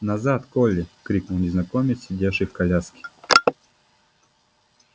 назад колли крикнул незнакомец сидевший в коляске